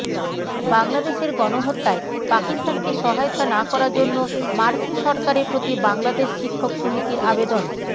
বাংলাদেশের গণহত্যায় পাকিস্তানকে সহায়তা না করার জন্য মার্কিন সরকারের প্রতি বাংলাদেশ শিক্ষক সমিতির আবেদন